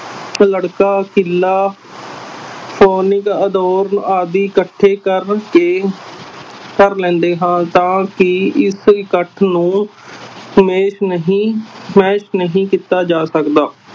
ਲੜਕਾ ਕਿੱਲਾ ਆਦਿ ਇਕੱਠੇ ਕਰਕੇ ਕਰ ਲੈਂਦੇ ਹਾਂ ਤਾਂ ਕਿ ਇਸ ਇਕੱਠ ਨੂੰ ਨਹੀਂ ਨਹੀਂ ਕੀਤਾ ਜਾ ਸਕਦਾ।